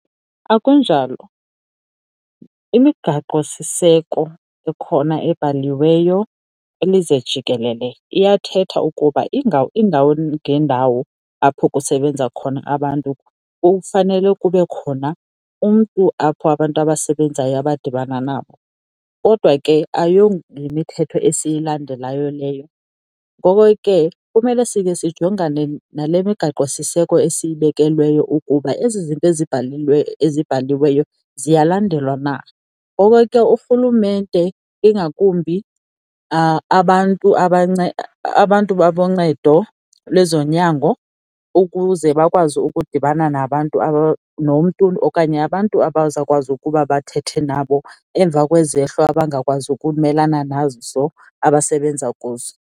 Akunjalo. Imigaqosiseko ekhona ebhaliweyo kwilizwe jikelele iyathetha ukuba iindawo ngeendawo apho kusebenza khona abantu kufanele kube khona umntu apho abantu abasebenzayo abadibana nabo. Kodwa ke ayoyimithetho esiyilandelayo leyo. Ngoko ke kumele sikhe sijongane nale migaqosiseko esiyibekelweyo ukuba ezi zinto ezibhaliweyo ziyalandelwa na, ngoko ke urhulumente ingakumbi abantu boncedo lwezonyango ukuze bakwazi ukudibana nabantu nomntu okanye abantu abazawukwazi ukuba bathethe nabo emva kwizehlo abangakwazi ukumelana nazo abasebenza kuzo.